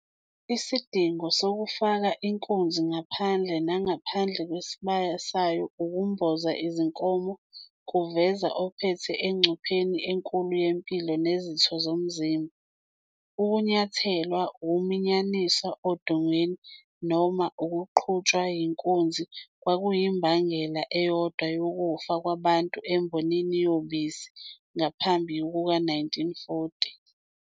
Isidingo sokufaka inkunzi ngaphandle nangaphandle kwesibaya sayo ukumboza izinkomo kuveza ophethe engcupheni enkulu yempilo nezitho zomzimba. Ukunyathelwa, ukuminyaniswa odongeni, noma ukuqhutshwa yinkunzi kwakuyimbangela eyodwa yokufa kwabantu embonini yobisi ngaphambi kuka-1940.